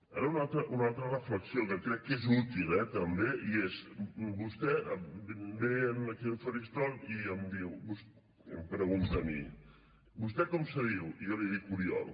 ara una altra reflexió que crec que és útil eh també i és vostè ve aquí al faristol i em diu i em pregunta a mi vostè com se diu i jo li dic oriol